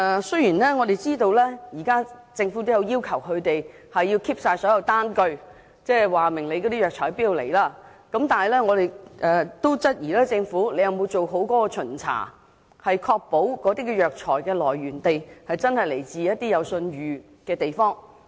雖然我們知道政府現時已要求批發商必須保存單據，顯示藥材從何處進口，但我們質疑政府有否做好巡查，確保藥材的來源地是一些有信譽的地方。